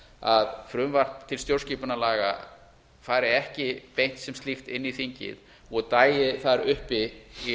að frumvarp til stjórnskipunarlaga fari ekki beint sem slíkt inn í þingið og dagi þar uppi í